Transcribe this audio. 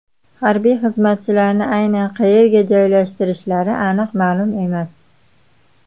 Harbiy xizmatchilarni aynan qayerga joylashtirishlari aniq ma’lum emas.